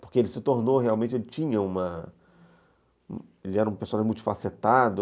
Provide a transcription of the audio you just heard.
Porque ele se tornou realmente... Ele tinha... era um personagem multifacetado.